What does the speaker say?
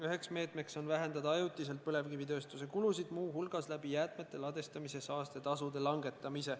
Üks meede on vähendada ajutiselt põlevkivitööstuse kulusid, langetades jäätmete ladestamise saastetasusid.